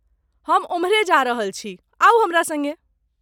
हम ओम्हरे जा रहल छी, आउ हमरा सङ्गे।